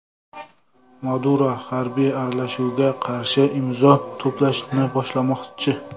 Maduro harbiy aralashuvga qarshi imzo to‘plashni boshlamoqchi.